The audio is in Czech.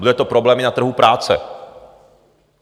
Bude to problém i na trhu práce.